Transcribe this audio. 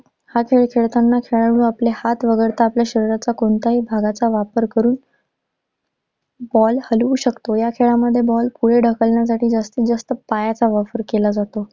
हा खेळ खेळताना खेळाडू आपले हात वगळता आपल्या शरीराच्या कोणत्याही भागाचा वापर करुन ball हलवू शकतो. या खेळामध्ये ball पुढे ढकलण्यासाठी जास्तीजास्त पायाचा वापर केला जातो.